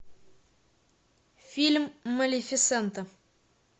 фильм малефисента